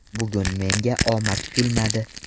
Bugun menga omad kulmadi.